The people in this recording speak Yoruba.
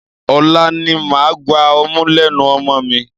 Ọ̀la ni màá gba ọmú lẹ́nu ọmọ mi.